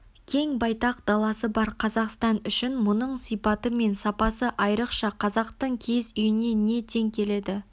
кең-байтақ даласы бар қазақстан үшін мұның сипаты мен сапасы айрықша қазақтың киіз үйіне не тең келеді